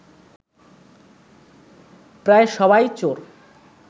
প্রায় সবাই চোর